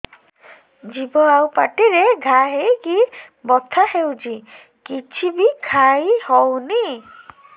ଜିଭ ଆଉ ପାଟିରେ ଘା ହେଇକି ବଥା ହେଉଛି କିଛି ବି ଖାଇହଉନି